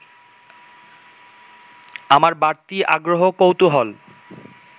আমার বাড়তি আগ্রহ-কৌতূহল